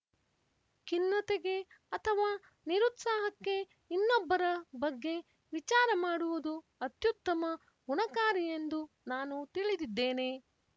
ಖಿನ್ನತೆಗೆ ಅಥವಾ ನಿರುತ್ಸಾಹಕ್ಕೆ ಇನ್ನೊಬ್ಬರ ಬಗ್ಗೆ ವಿಚಾರ ಮಾಡುವುದು ಅತ್ಯುತ್ತಮ ಗುಣಕಾರಿಯೆಂದು ನಾನು ತಿಳಿದಿದ್ದೇನೆ